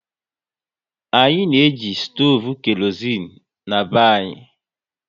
Anyị na eji stoovu kerozein na-be anyị